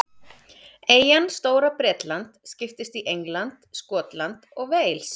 Eyjan Stóra-Bretland skiptist í England, Skotland og Wales.